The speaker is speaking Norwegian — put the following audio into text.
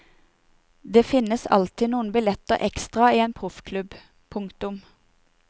Det finnes alltid noen billetter ekstra i en proffklubb. punktum